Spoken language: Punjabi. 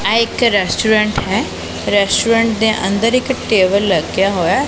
ਇਹ ਇੱਕ ਰੈਸਟੋਰੈਂਟ ਹੈ ਰੈਸਟੋਰੈਂਟ ਦੇ ਅੰਦਰ ਇਕ ਟੇਬਲ ਲੱਗਾ ਹੋਇਆ ਹੈ।